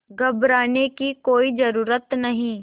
घबराने की कोई ज़रूरत नहीं